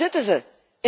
Waar zitten ze?